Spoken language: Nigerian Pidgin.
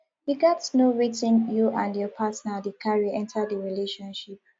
you gats know wetin you and your partner dey carry enter di relationship